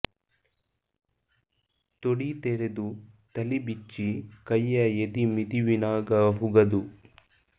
ತೊಡೀ ತೆರೆದು ತಲಿ ಬಿಚ್ಚಿ ಕೈಯ ಎದಿ ಮಿದಿವಿನಾಗ ಹುಗದು